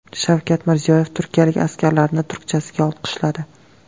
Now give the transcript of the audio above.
Shavkat Mirziyoyev turkiyalik askarlarni turkchasiga olqishladi .